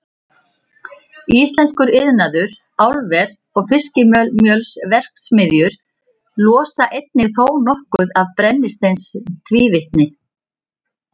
Íslenskur iðnaður, álver og fiskimjölsverksmiðjur losa einnig þónokkuð af brennisteinstvíildi.